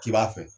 K'i b'a fɛ